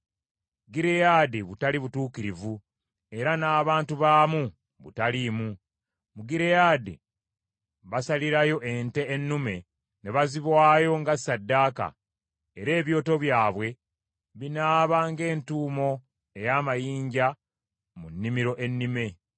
Gireyaadi butali butuukirivu era n’abantu baamu butaliimu. Mu Gireyaadi basalirayo ente ennume ne baziwaayo nga ssaddaaka, era ebyoto byabwe binaaba ng’entuumo ey’amayinja mu nnimiro ennime.